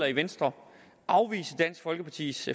i venstre afvise dansk folkepartis